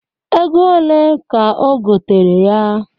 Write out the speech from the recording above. Ego one ka o gotere ya?